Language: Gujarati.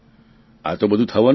આતો બધું થવાનું જ